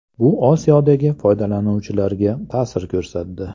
Bu Osiyodagi foydalanuvchilarga ta’sir ko‘rsatdi.